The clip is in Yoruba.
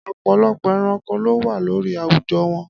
Ọ̀pọ̀lọpọ̀ ẹranko ló wà lórí àwùjọ wọn.